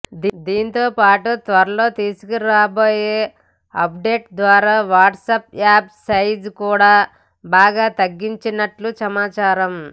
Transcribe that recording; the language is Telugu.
దీంతో పాటు త్వరలో తీసుకురాబోయే అప్డేట్ ద్వారా వాట్సాప్ యాప్ సైజ్ కూడా బాగా తగ్గనున్నట్లు సమాచారం